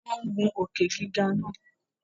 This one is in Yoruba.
Wọn ń gun Òkè-gíga náà